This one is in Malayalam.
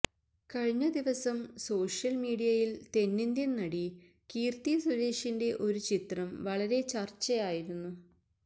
കഴിഞ്ഞ ദിവസം സോഷ്യല് മീഡിയയില് തെന്നിന്ത്യന് നടി കീര്ത്തി സുരേഷിന്റെ ഒരു ചിത്രം വളരെ ചര്ച്ചയായിരുന്നു